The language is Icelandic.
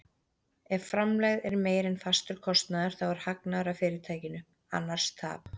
Ef framlegð er meiri en fastur kostnaður þá er hagnaður af fyrirtækinu, annars tap.